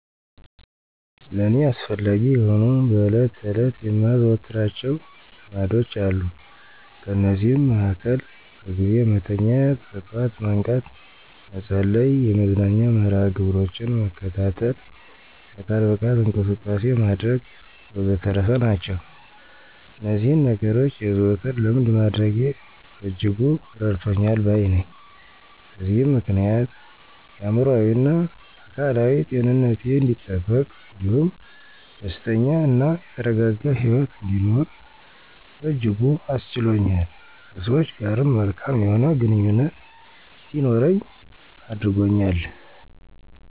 ለእኔ አስፈላጊ የሆኑ በዕለት ተዕለት የማዘወትራቸው ልማዶች አሉ። ከነዚህም መሀከል በጊዜ መተኛት፣ በጠዋት መንቃት፣ መጸለይ፣ የመዝናኛ መርሀ ግብሮችን መከታተል፣ የአካል ብቃት እንቅስቃሴ ማድረግ ወዘተረፈ ናቸው። እነዚህን ነገኖች የዘወትር ልምድ ማድረጌ በእጅጉ እረድቶኛል ባይ ነኘ። በዚህም ምክንያት የአእምሮአዊና አካላዊ ጤንነቴ አንዲጠበቅ እንዲሁም ደስተኛ እና የተረጋጋ ሂወት እንድኖር በእጅጉ አስችሎኛል። ከሰወች ጋርም መልካም የሆነ ግንኙነት እንዲኖረኝ አድርጎኛል።